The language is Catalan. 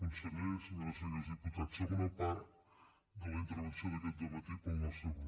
conseller senyores i senyors diputats segona part de la intervenció d’aquest matí per al nostre grup